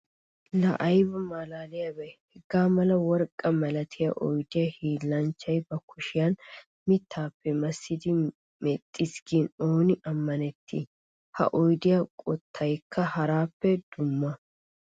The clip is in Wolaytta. Laa aybba malaliyaabbe! Haga mala worqqa malattiya oyddiya hiillanchchay ba kushiyan mittappe massiddi mexxiis gin ooni amannetti! Ha oyddiya qottaykka harappe dumma.